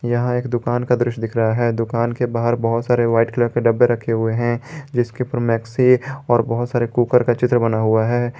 यहां एक दुकान का दृश्य दिख रहा है दुकान के बाहर बहुत सारे व्हाइट कलर के डब्बे रखे हुए हैं जिसके पर मैक्सी और बहुत सारे कुकर का चित्र बना हुआ है।